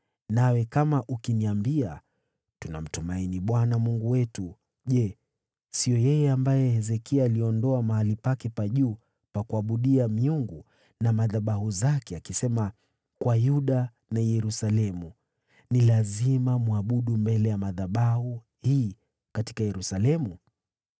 Nawe kama ukiniambia, “Tunamtumainia Bwana Mungu wetu”: je, siyo yeye ambaye Hezekia aliondoa mahali pake pa juu pa kuabudia miungu na madhabahu zake, akiwaambia Yuda na Yerusalemu, “Ni lazima mwabudu mbele ya madhabahu haya katika Yerusalemu”?